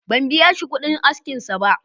Ban biya shi kuɗin askinsa ba.